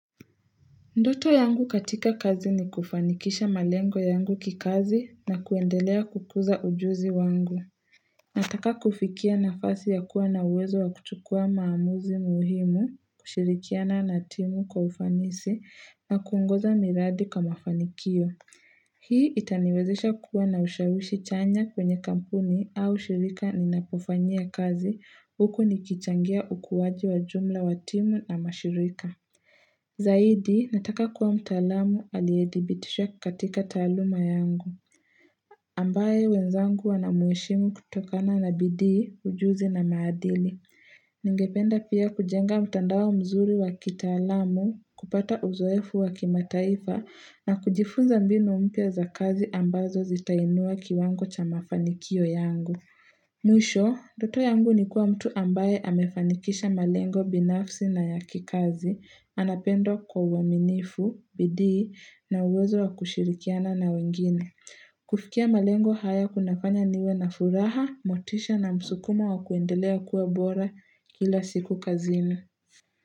Ndoto yangu katika kazi ni kufanikisha malengo yangu kikazi na kuendelea kukuza ujuzi wangu. Nataka kufikia nafasi ya kuwa na uwezo wa kuchukua maamuzi muhimu, kushirikiana na timu kwa ufanisi na kuongoza miradi kwa mafanikio. Hii itaniwezesha kuwa na ushawishi chanya kwenye kampuni au shirika ninapofanyia kazi huko nikichangia ukuaji wa jumla wa timu na mashirika. Zaidi, nataka kuwa mtaalamu aliedhibitishwa katika taaluma yangu. Ambaye wenzangu wanamheshimu kutokana na bidii, ujuzi na maadili Ningependa pia kujenga mtandao mzuri wa kitaalamu kupata uzoefu wa kimataifa na kujifunza mbinu mpya za kazi ambazo zitainua kiwango cha mafanikio yangu Mwisho, ndoto yangu ni kuwa mtu ambaye amefanikisha malengo binafsi na ya kikazi anapendwa kwa uaminifu, bidii, na uwezo wa kushirikiana na wengine. Kufikia malengo haya kunafanya niwe na furaha, motisha na msukuma wa kuendelea kuwa bora kila siku kazini.